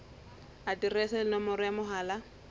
aterese le nomoro ya mohala